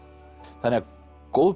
þannig að góð